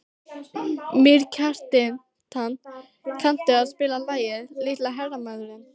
Mýrkjartan, kanntu að spila lagið „Litli hermaðurinn“?